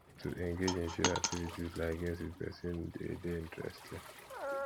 to engage in shared activities like games with persin de dey interesting